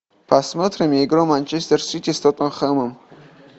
посмотрим игру манчестер сити с тоттенхэмом